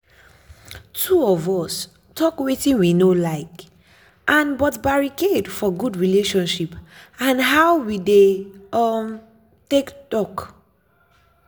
two us talk wetin we no like and but barricade for good relationship and how we dey um take talk.